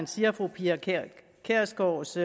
siger at fru pia kjærsgaards